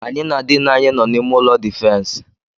Anyị na diini anyị nọ n'ime ụlọ difensi.